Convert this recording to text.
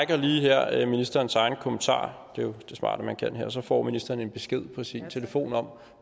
lige her ministerens egen kommentar det er jo det smarte at man kan det og så får ministeren en besked på sin telefon om